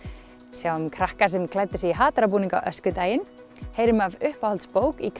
sjáum krakka sem klæddu sig í hatara búning á öskudaginn heyrum af uppáhalds bók í